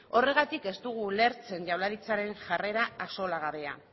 horregatik ez dugu ulertzen jaurlaritzaren jarrera axolagarria